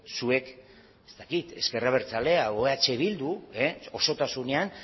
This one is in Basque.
zuek ez dakit ezker abertzalea edo eh bildu osotasunean